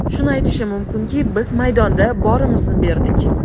Shuni aytishim mumkinki, biz maydonda borimizni berdik.